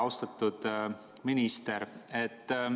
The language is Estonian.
Austatud minister!